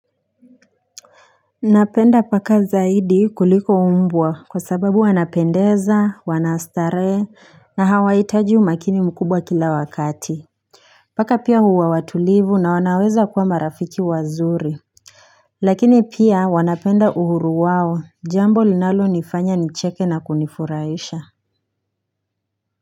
Napenda paka zaidi kuliko mbwa kwa sababu wanapendeza wana starehe na hawaitaji umakini mkubwa kila wakati Paka pia huwa watulivu na wanaweza kuwa marafiki wazuri Lakini pia wanapenda uhuru wao jambo linalonifanya nicheke na kunifuraisha.